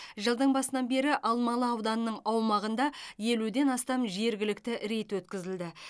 жылдың басынан бері алмалы ауданның аумағында елуден астам жергілікті рейд өткізілді